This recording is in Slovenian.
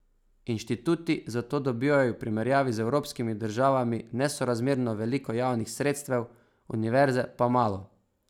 Inštituti zato dobivajo v primerjavi z evropskimi državami nesorazmerno veliko javnih sredstev, univerze pa malo.